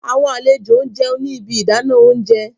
Awọn alejo n jẹun ni ibi idana ounjẹ